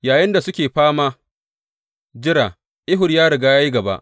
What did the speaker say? Yayinda suke fama jira, Ehud ya riga ya yi gaba.